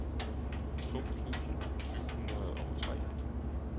to tusind syv hundrede og tre